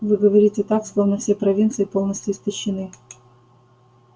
вы говорите так словно все провинции полностью истощены